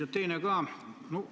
Ja teine on ka.